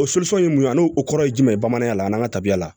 O ye mun ye a n'o o kɔrɔ ye jumɛn ye bamananya la an n'an ka tabiya la